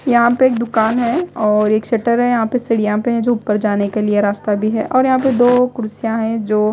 यहां पे एक दुकान है और एक शटर हैं यहां पे सीढ़ियां पे हैं जो ऊपर जाने के लिए रास्ता भी है और यहां पे दो कुर्सियां हैं जो--